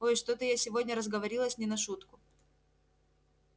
ой что-то я сегодня разговорилась не на шутку